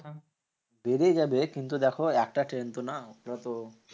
বেড়ে যাবে কিন্তু দেখো একটা ট্রেন তো না? যত